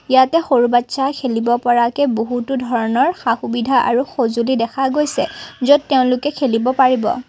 ইয়াতে সৰু বাটচ্চা খেলিব পৰাকৈ বহুতো ধৰণৰ সা-সুবিধা আৰু সজুলি দেখা গৈছে য'ত তেওঁলোকে খেলিব পাৰিব।